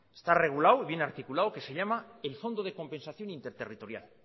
está regulado y bien articulado que se llama el fondo de compensación interterritorial